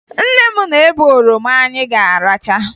Nne m na-ebe oroma anyị ga-aracha